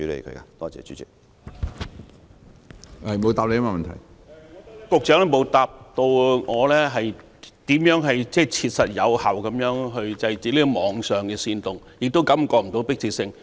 局長沒有回答我，如何切實有效地制止網上的煽動，似乎感覺不到相關迫切性。